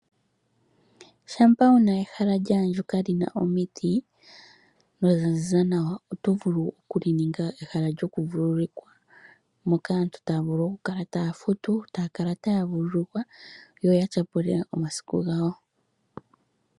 Shampa wuna ehala lyaandjuka lyina omiti, nolya zi za nawa oto vulu okuli ninga ehala lyoku vululukilwa, moka aantu taya vulu oku kala taya futu, yo taya vululukwa, yo ya tya pule omasiku gawo.